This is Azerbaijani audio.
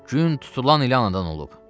Gün tutulan ili anadan olub.